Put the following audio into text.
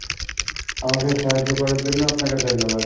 আমাকে সাহায্য করার জন্য আপনাকে ধন্যবাদ।